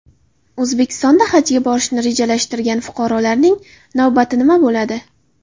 O‘zbekistonda Hajga borishni rejalashtirgan fuqarolarning navbati nima bo‘ladi?